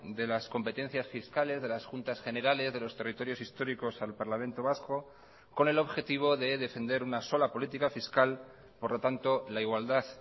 de las competencias fiscales de las juntas generales de los territorios históricos al parlamento vasco con el objetivo de defender una sola política fiscal por lo tanto la igualdad